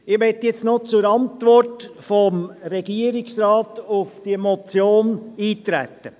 Ich möchte nun noch auf die Antwort des Regierungsrates auf diese Motion eintreten.